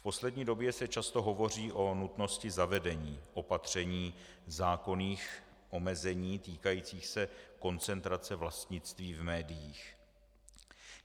V poslední době se často hovoří o nutnosti zavedení opatření, zákonných omezení týkajících se koncentrace vlastnictví v médiích.